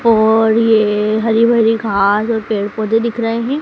और ये हरी भरी घास और पेड़ पौधे दिख रहे हैं।